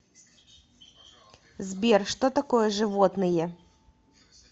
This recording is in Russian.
сбер что такое животные